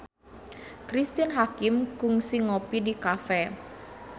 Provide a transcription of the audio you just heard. Cristine Hakim kungsi ngopi di cafe